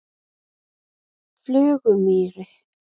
Flugumýri